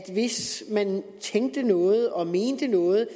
hvis man tænkte noget og mente noget